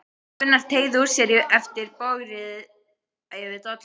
Gunnar og teygði úr sér eftir bogrið yfir dollunum.